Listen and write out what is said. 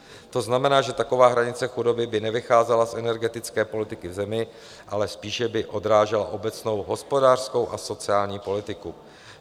To znamená, že taková hranice chudoby by nevycházela z energetické politiky v zemi, ale spíše by odrážela obecnou hospodářskou a sociální politiku.